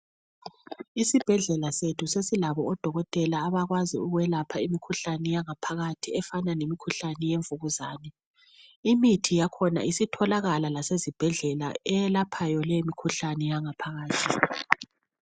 Isibhedlela sethu sesilabo odokotela abakwazi ukwelapha imikhuhlane yangaphakathi efana lemikhuhlane yemvukuzane. Imithi yakhona isitholakala lasezibhedlela eyelaphayo lemikhuhlane yangaphakathi.